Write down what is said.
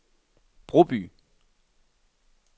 Broby